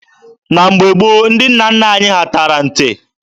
Na mgbe gboo, ndị nna nna anyị ha tara nte.